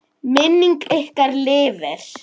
Minning ykkar lifir.